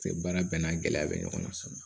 Baara bɛɛ n'a gɛlɛya bɛ ɲɔgɔn na so